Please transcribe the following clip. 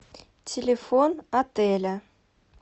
телефон отеля